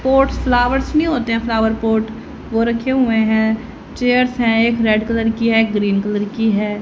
Pots flowers नहीं होते है फ्लावर पॉट वो रखे हुए है चेयर्स है एक रेड कलर की है एक ग्रीन कलर की है।